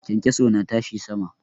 Kyankyaso na tashi sama.